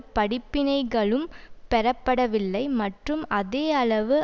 படிப்பினைகளும் பெறப்படவில்லை மற்றும் அதே அளவு